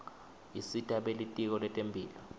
isita belitiko letemphilo